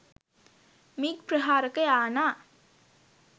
MiG ප්‍රහාරක යානා .